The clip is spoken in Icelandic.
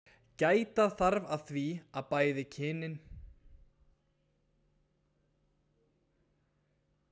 gæta þarf að því að bæði kynin eigi jafnmarga fulltrúa í hópnum